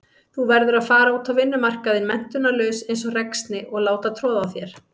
Verður að fara út á vinnumarkaðinn menntunarlaus einsog ræksni og láta troða á þér.